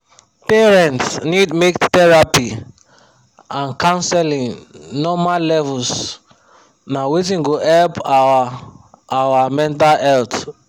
parents need make therapy and counseling normal levels na wetin go help our our mental health